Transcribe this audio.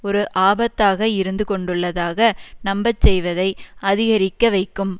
ஒரு ஆபத்தாக இருந்து கொண்டுள்ளதாக நம்பச் செய்வதை அதிகரிக்க வைக்கும்